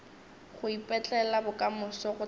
go ipetlela bokamoso go thata